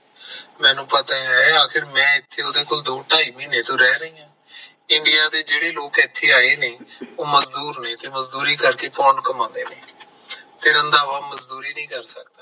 ਮੈਨੂੰ ਪਤਾ ਐ ਆਖਿਰ ਮੈਂ ਏਥੇ ਓਦੇ ਕੋਲ ਦੋ ਢਾਈ ਮਹੀਨੇ ਤੋਂ ਰਹ ਰਹਿ ਹਾਂ। india ਦੇ ਜਿਹੜੇ ਲੋਕ ਇੱਥੇ ਆਏ ਨੇ ਉਹ ਮਜਦੂਰ ਨੇ ਤੇ ਮਜਦੂਰੀ ਕਰਕੇ pound ਕਮਾਂਦੇ ਨੇ ਤੇ ਰੰਧਾਵਾ ਮਜਦੂਰੀ ਨਹੀਂ ਕਰ ਸਕਦਾ।